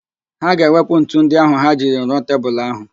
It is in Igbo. Ha ga-ewepụ ntu ndị ahụ ha jiri rụọ tebulu ahụ